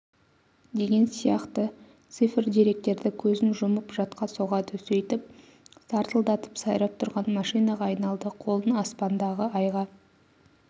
деген сияқты цифр-деректерді көзін жұмып жатқа соғады сөйтіп сартылдап сайрап тұрған машинаға айналды қолын аспандағы айға